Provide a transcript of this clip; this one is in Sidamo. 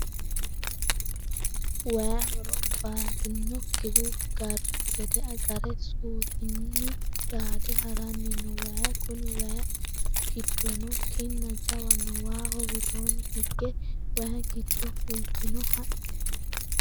Waayi horo bati'nokkihu garbu gede gare suutunni daade harani no waayi kuni waayi giddono kinna jawa no waaho widooni higge waayi giddo fultino haqqe.